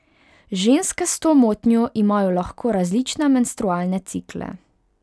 Ženske s to motnjo imajo lahko različne menstrualne cikle.